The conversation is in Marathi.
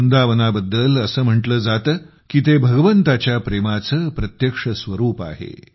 वृंदावनाबद्दल असे म्हटले जाते की ते भगवंताच्या प्रेमाचे प्रत्यक्ष स्वरूप आहे